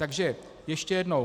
Takže ještě jednou.